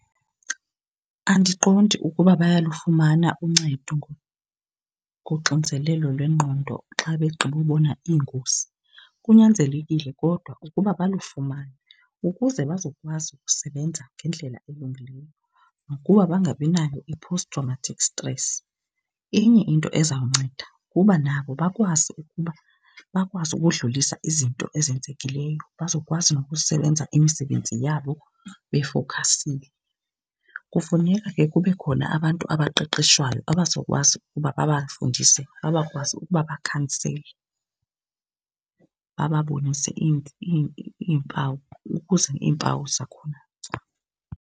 Andiqondi ukuba bayalufumana uncedo ngoxinzelelo lwengqondo xa begqiba ubona iingozi. Kunyanzelekile kodwa ukuba balufumane ukuze bazokwazi ukusebenza ngendlela elungileyo nokuba bangabi nayo i-post traumatic stress. Inye into ezawunceda kuba nabo bakwazi ukuba bakwazi ukudlulisa izinto ezenzekileyo bazokwazi nokusebenza imisebenzi yabo befowukhasile, kufuneka ke kube khona abantu abaqeqeshwayo abazokwazi uba babafundise bakwazi ukuba babakhansele, bababonise iimpawu ukuze iimpawu zakhona .